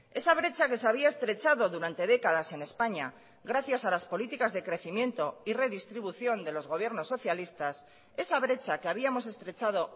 esa brecha que se había estrechado durante décadas en españa gracias a las políticas de crecimiento y redistribución de los gobiernos socialistas esa brecha que habíamos estrechado